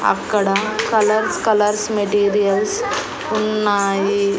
అక్కడ colours colours materials ఉన్నాయి.